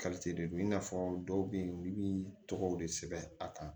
de do i n'a fɔ dɔw bɛ yen olu bi tɔgɔw de sɛbɛn a kan